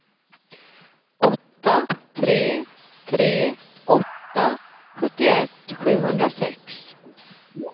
åtta tre tre åtta sjuttioett sjuhundrasex